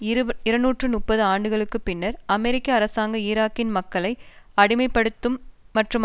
இருநூற்று முப்பது ஆண்டுகளுக்கு பின்னர் அமெரிக்க அரசாங்கம் ஈராக்கின் மக்களை அடிமைப்படுத்தும் மற்றும்